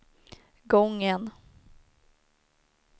gången